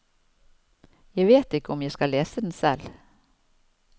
Jeg vet ikke om jeg skal lese den selv.